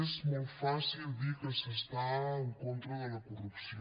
és molt fàcil dir que s’està en contra de la corrupció